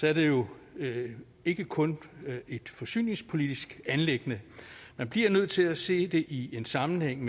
er det jo ikke kun et forsyningspolitisk anliggende man bliver nødt til at se det i en sammenhæng